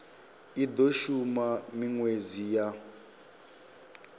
i do shuma minwedzi ya